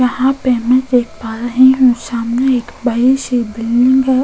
यहा पे मैं देख पा रही हू सामने एक बड़ी सी बिल्डिंग है।